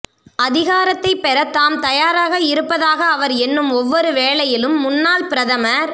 அதிகாரத்தைப் பெற தாம் தயாராக இருப்பதாக அவர் எண்ணும் ஒவ்வொரு வேளையிலும் முன்னாள் பிரதமர்